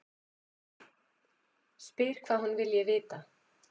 Spyr hvað hún vilji vita.